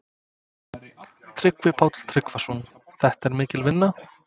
Tryggvi Páll Tryggvason: Þetta er mikil vinna?